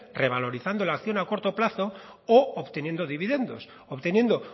revalorizando la acción a corto plazo u obteniendo dividendos obteniendo